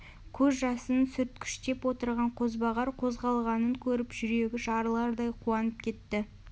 көз жасын сүрткіштеп отырған қозбағар қозғалғанын көріп жүрегі жарылардай қуанып кетті